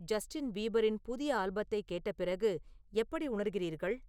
Justin பீபரின் புதிய ஆல்பத்தை கேட்ட பிறகு எப்படி உணர்கிறீர்கள்